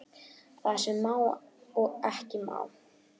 Það sem má og ekki má